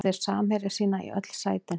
Báðir völdu þeir samherja sína í öll sætin.